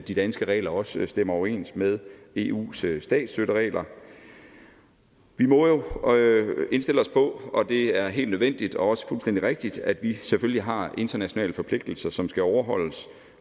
de danske regler også stemmer overens med eus statsstøtteregler vi må jo indstille os på og det er helt nødvendigt og også fuldstændig rigtigt at vi selvfølgelig har internationale forpligtelser som skal overholdes